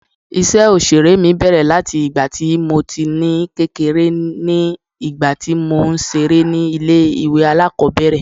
Ìṣe Òṣèré mi bẹ̀rẹ̀ láti ìgbà tí mo ní kékeré ní ìgbà tí mò ń ṣeré ni ilé ìwé alákòbẹ̀rẹ̀.